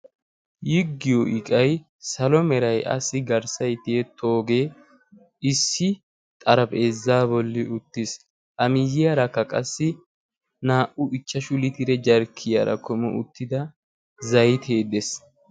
yiggiyo iqai salomeray asi garssay tiyetoogee issi xarapheezzaa bolli uttiis amiyiyaarakka qassi naa''u ichchashu litire jarkkiyaara komu uttida zaitieddees